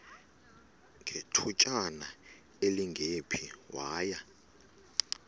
ngethutyana elingephi waya